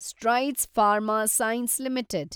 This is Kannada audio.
strides Pharma Science limited